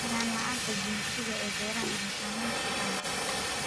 Sinnaan la'aanta jinsiga ee beeraha waxay saameyn kartaa wax soo saarka.